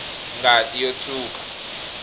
ngati yo tshwuka